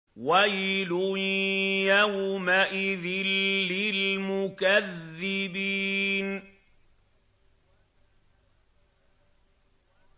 وَيْلٌ يَوْمَئِذٍ لِّلْمُكَذِّبِينَ